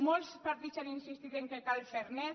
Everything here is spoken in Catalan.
molts partits han insistit que cal fer net